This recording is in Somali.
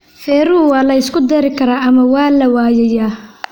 Feeruhu waa la isku dari karaa ama waa la waayayaa.